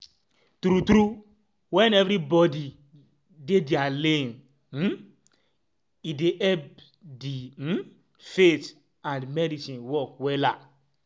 tru tru eh wen everybodi dey dia lane um e dey epp di um faith and medicine work wella